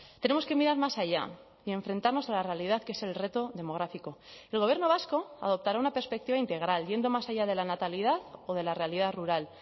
tenemos que mirar más allá y enfrentarnos a la realidad que es el reto demográfico el gobierno vasco adoptará una perspectiva integral yendo más allá de la natalidad o de la realidad rural